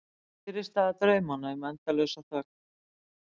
Fyrirstaða draumanna um endalausa þögn.